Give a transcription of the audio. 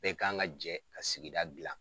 Bɛɛ kan ka jɛ ka sigida gila.